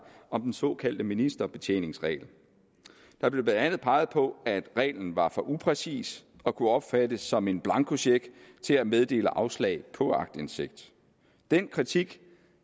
om den såkaldte ministerbetjeningsregel der blev blandt andet peget på at reglen var for upræcis og kunne opfattes som en blankocheck til at meddele afslag på aktindsigt den kritik